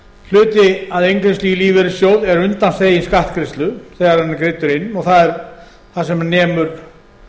hluti af inngreiðslu í lífeyrissjóð er undanþeginn skattgreiðslu þegar hann er greiddur inn og það er það sem nemur